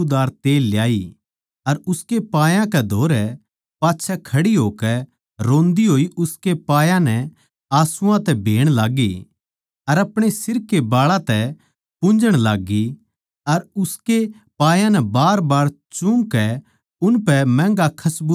अर उसकै पायां कै धोरै पाच्छै खड़ी होकै रोंदी होई उसकै पायां नै आसूआं तै भेण लाग्गी अर अपणे सिर कै बाळां तै पुन्झण लाग्गी अर उसके पायां नै बारबार चूमकै उनपै महँगा खसबूदार तेल मळ्या